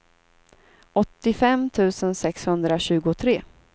åttiofem tusen sexhundratjugotre